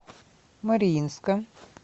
мариинска